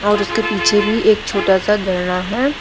और उसके पीछे भी एक छोटा सा झरना है।